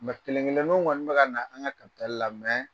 kelen-kelenniw ŋɔni be kana an' ŋa la